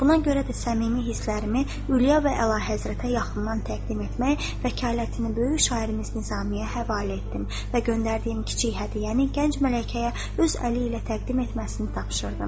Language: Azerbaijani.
Buna görə də səmimi hislərimi Ülyə və Əlahəzrətə yaxından təqdim etmək, vəkalətini böyük şairimiz Nizamiyə həvalə etdim və göndərdiyim kiçik hədiyyəni gənc mələkəyə öz əli ilə təqdim etməsini tapşırdım.